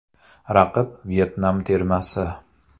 Raqib Vyetnam termasi.